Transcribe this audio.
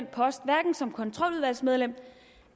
post hverken som kontroludvalgsmedlem